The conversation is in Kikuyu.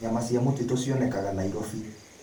Nyamũ cia mũtitũ cionekanaga Nairobi.